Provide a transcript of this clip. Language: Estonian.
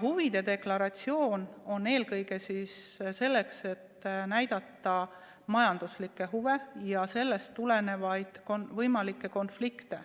Huvide deklaratsioon on mõeldud eelkõige selleks, et näidata majanduslikke huve ja sellest tulenevaid võimalikke konflikte,